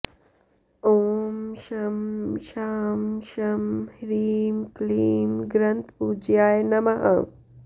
ॐ शं शां षं ह्रीं क्लीं ग्रन्थपूज्याय नमः